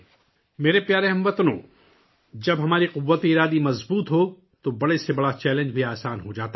میرے پیارے ہم وطنو، جب ہمارا عزم مضبوط ہوتا ہے تو بڑے سے بڑا چیلنج بھی آسان ہو جاتا ہے